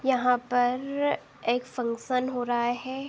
यहाँ पर एक फंक्शन हो रहा है।